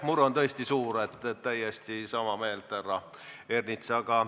Mure on tõesti suur, täiesti sama meelt, härra Ernits.